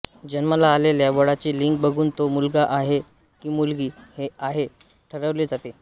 जन्माला आलेल्या बाळाचे लिंग बघून तो मुलगा आहे का मुलगी आहे हे ठरवले जाते